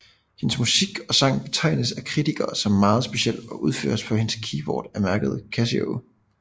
Hendes musik og sang betegnes af kritikere som meget speciel og udføres på hendes keyboard af mærket Casio